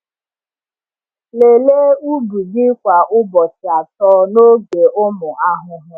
Lelee ubi gị kwa ụbọchị atọ n’oge ụmụ ahụhụ.